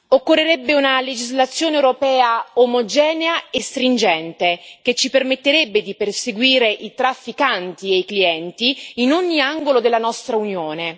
Occorrerebbe una legislazione europea omogenea e rigorosa, che ci permetterebbe di perseguire i trafficanti e i clienti in ogni angolo della nostra Unione.